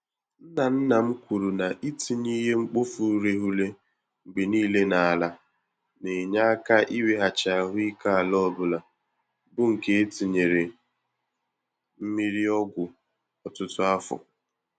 Nna nna m kwuru na itinye ìhè-mkpofu-ureghure mgbe niile n'ala, na-enye aka iweghachi ahụike ala ọbula, bụ nke etinyere mmiri-ọgwụ ọtụtụ afọ